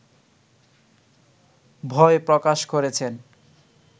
ভয় প্রকাশ করেছেন